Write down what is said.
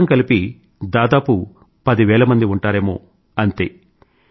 మొత్తం కలిపి దాదాపు పది వేల మంది ఉంటారేమో అంతే